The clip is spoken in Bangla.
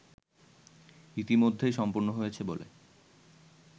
ইতিমধ্যেই সম্পন্ন হয়েছে বলে